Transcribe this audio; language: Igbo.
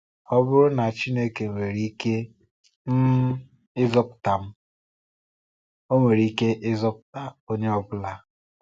Ọ bụrụ na Chineke nwere ike um ịzọpụta m, Ọ nwere ike ịzọpụta onye ọ bụla.